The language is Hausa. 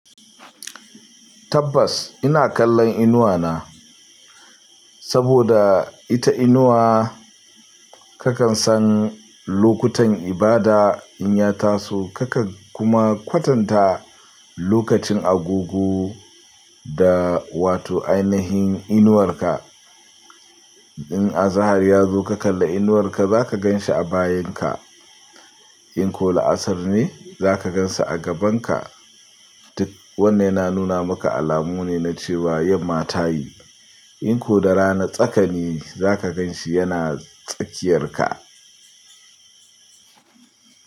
Tabbas ina kallon inuwa na, saboda ita inuwa kakan san lokutan ibada in ya taso kakan kuma kwatanta lokacin agogo da wato ainihin inuwarka. In azahar ya zo ka kalla inuwarka zaka gan shi a bayinka. In ko la'asar ne zaka gan shi a gabanka. Wannan na nuna maka alamu ne na cewa yamma tayi. In ko da rana tsaka ne zaka gan shi yana tsakiyarka.